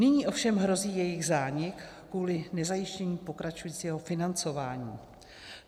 Nyní ovšem hrozí jejich zánik kvůli nezajištění pokračujícího financování.